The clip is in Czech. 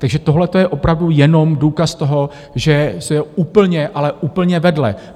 Takže tohle to je opravdu jenom důkaz toho, že jste úplně, ale úplně vedle.